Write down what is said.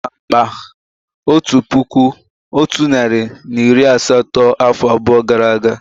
Á zuru m akpá otu puku otu narị na iri asatọ afọ abụọ gara aga